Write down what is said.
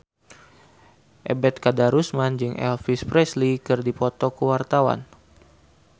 Ebet Kadarusman jeung Elvis Presley keur dipoto ku wartawan